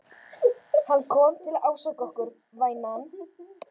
Hann kom til að ásaka okkur, vænan.